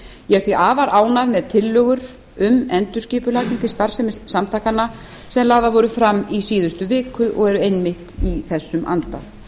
ég er því afar ánægð með tillögur um endurskipulagningu starfsemi samtakanna sem lagðar voru fram í síðustu viku og eru einmitt í þessum anda